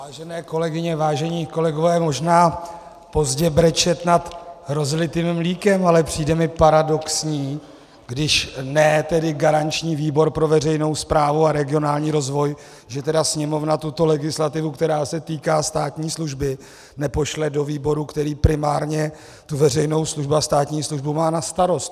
Vážené kolegyně, vážení kolegové, možná pozdě brečet nad rozlitým mlékem, ale přijde mi paradoxní, když ne tedy garanční výbor pro veřejnou správu a regionální rozvoj, že tedy Sněmovna tuto legislativu, která se týká státní služby, nepošle do výboru, který primárně tu veřejnou službu a státní službu má na starost.